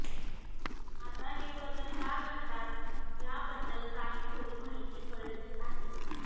आता हे बदल का घडतात याबद्दल काही थोडी माहिती कळली आहे